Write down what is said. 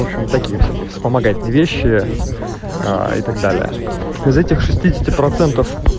в общем такие всякие вспомогательные вещи а и так далее из этих шести десяти процентов